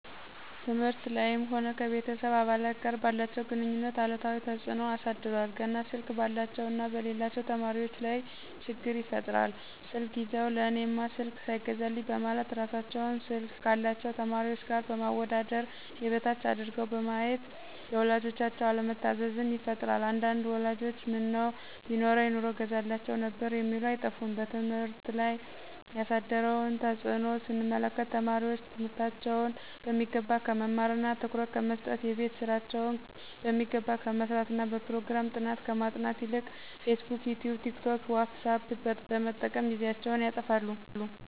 ትምህርት ላይም ሆነ ከቤተሰብ አባላት ጋር ባላቸው ግንኙነት አሉታዊ ተጽኖ አሳድሯል። ገና ስልክ ባላቸው እና በሌላቸው ተማሪዎች ላይ ችግር ይፈጥራል ስልክ ይዘው ለእኔማ ስልክ ሳይገዛልኝ በማለት እራሳቸውን ስልክ ካላቸው ተማሪዎች ጋር በማወዳደር የበታች አድርገው በማየት ለወላጆቻቸው አለመታዘዝን ይፈጥራል አንዳንድ ወላጆችም ቢኖረኝ ኑሮ እገዛላችሁ ነበር የሚሉ አይጠፉም። በትምህርት ላይ ያሳደረውን ተጽኖ ስንመለከት ተማሪዎች ትምህርታቸውን በሚገባ ከመማርና ትኩረት ከመሰጠት :የቤት ስራቸውን በሚገባ ከመስራትና በፕሮግራም ጥናት ከማጥናት ይልቅ ፌስቡክ :ይቲዩብ :ቲክቶክ: ዎትሳፕ በመጠቀም ጊዜያቸውን ያጠፋሉ